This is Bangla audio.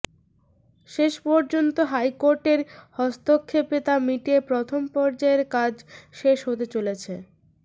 শেষ পর্যন্ত হাইকোর্টের হস্তক্ষেপে তা মিটিয়ে প্রথম পর্যায়ের কাজ শেষ হতে চলেছে